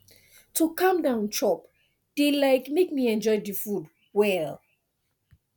to calm down chop dey um make me enjoy the food well